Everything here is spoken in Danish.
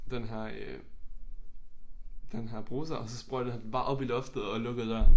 Den her øh den her bruser og så sprøjtede han den bare op i loftet og lukkede døren